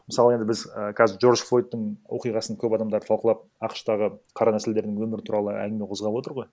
мысалы енді біз ііі қазір джордж флойдтың оқиғасын көп адамдар талқылап ақш тағы қара нәсілдердің өмірі туралы әңгіме қозғап отыр ғой